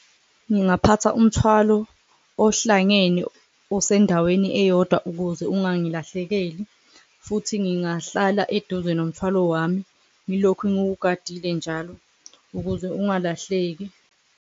Ngingaphatha umthwalo ohlangene osendaweni eyodwa ukuze ungangilahlekeli futhi ngingahlala eduze nomthwalo wami, ngilokhu ngiwugadile njalo ukuze ungalahleki.